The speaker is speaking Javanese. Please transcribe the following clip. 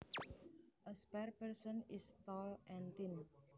A spare person is tall and thin